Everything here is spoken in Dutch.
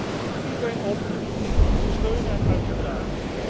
Ik roep iedereen op dit initiatief te steunen en uit te dragen.